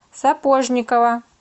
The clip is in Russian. сапожникова